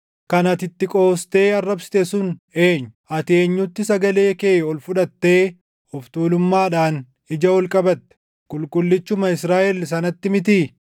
Kan ati itti qoostee arrabsite sun eenyu? Ati eenyutti sagalee kee ol fudhattee of tuulummaadhaan ija ol qabatte? Qulqullichuma Israaʼel sanatti mitii!